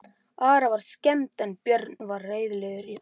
Ara var skemmt en Björn var reiðilegur á svipinn.